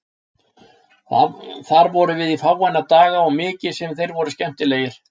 Þar vorum við í fáeina daga og mikið sem þeir voru skemmtilegir.